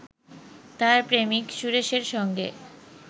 তার প্রেমিক সুরেশের সঙ্গে